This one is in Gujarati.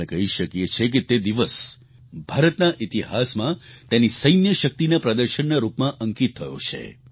આપણે કહી શકીએ છીએ કે તે દિવસ ભારતના ઈતિહાસમાં તેની સૈન્ય શક્તિના પ્રદર્શનના રૂપમાં અંકિત થયો છે